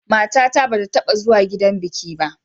Matata ba ta taɓa zuwa gidan biki ba.